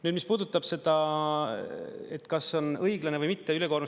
Nüüd, mis puudutab seda, kas on õiglane või mitte …